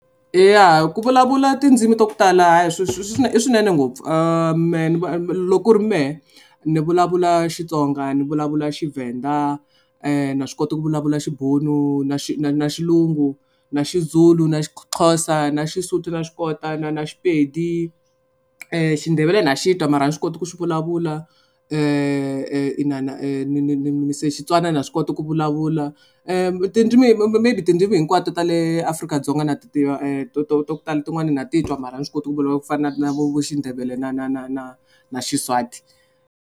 Eya ku vulavula tindzimi to tala i swinene ngopfu loko ku ri mehe ni vulavula Xitsonga ni vulavula Tshivenda na swi kota ku vulavula Xibunu na na na Xilungu na Xizulu na Xixhosa na Xisuthu na xi kota na na Xipedi. Xindebele na xi twa mara a ni swi kota ku xi vulavula na na se Xitswana na swi kota ku vulavula tindzimi maybe tindzimu hinkwato ta le Afrika-Dzonga na ti tiva to to ta ku tala tin'wana na ti twa mara ni swi koti ku vulavula ku fana na vo vo Xindebele na na na na na Xiswati.